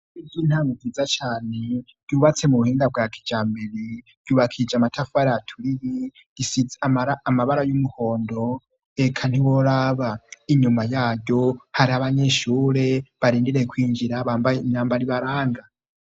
Biryo intama wiza cane yubatse mu buhinda bwa kijambere yubakije amatafuari aturiri gisie amara amabara y'umuhondo eka ntiboraba inyuma yayo hari abanyinshure barindiree kwinjira bambaye inyamba ribaranga.